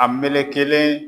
A melekelen